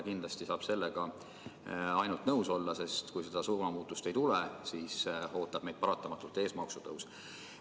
Kindlasti saab sellega ainult nõus olla, sest kui seda suunamuutust ei tule, siis ootab meid paratamatult ees maksutõus.